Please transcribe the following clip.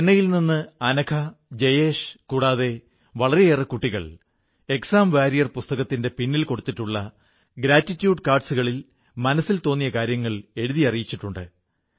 ചെന്നൈയിൽ നിന്ന് അനഘ ജയേശ് കൂടാതെ വളരെയേറെ കുട്ടികൾ ഏക്സാം വാരിയർ പുസ്തകത്തിന്റെ പിന്നിൽ കൊടുത്തിട്ടുള്ള ഗ്രാറ്റിട്യൂഡ് കാർഡ്സ് കളിൽ മനസ്സിൽ തോന്നിയ കാര്യങ്ങൾ എഴുതി എനിക്കയച്ചിട്ടുണ്ട്